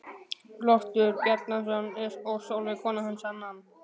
Loftur Bjarnason og Sólveig kona hans annan.